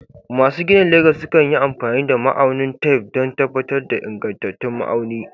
Masu ginin Legas sukan yi amfani da ma'aunin tef don tabbatar da ingantattun ma'auni.